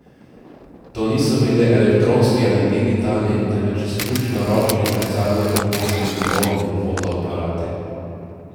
To niso bili elektronski ali digitalni, temveč izključno ročni zrcalnorefleksni, nerodni fotoaparati.